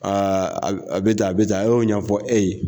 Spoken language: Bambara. Aa a bɛ tan a bɛ tan a y'o ɲɛfɔ e ye.